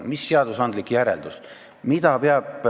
Mis seadusandlik järeldus tuleks teha?